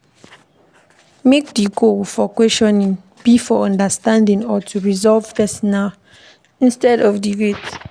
Make di goal for questioning be for understanding or to resolve personal instead of debate